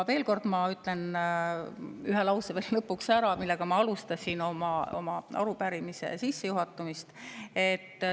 Veel kord ütlen lõpuks ühe lause, millega ma arupärimise sissejuhatamist alustasin.